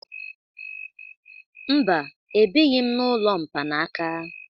Mba, ebighi m n'ụlọ mkpanaka.